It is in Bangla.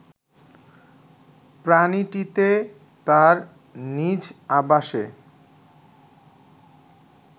প্রাণীটিতে তার নিজ আবাসে